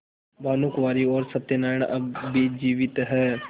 भानुकुँवरि और सत्य नारायण अब भी जीवित हैं